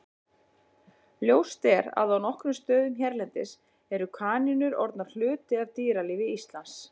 Ljóst er að á nokkrum stöðum hérlendis eru kanínur orðnar hluti af dýralífi Íslands.